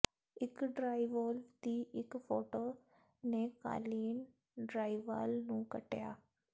ਇੱਕ ਡ੍ਰਾਈਵੋਲਵ ਦੀ ਇੱਕ ਫੋਟੋ ਨੇ ਕਾਲੀਨ ਡਰਾਇਵਾਲ ਨੂੰ ਕੱਟਿਆ